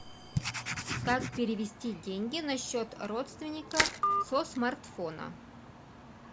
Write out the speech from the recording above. как перевести деньги на счет родственника со смартфона